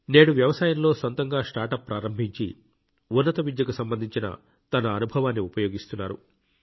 నేడు వ్యవసాయంలో సొంతగా స్టార్ట్అప్ ప్రారంభించి ఉన్నత విద్యకు సంబంధించిన తన అనుభవాన్ని ఉపయోగిస్తున్నారు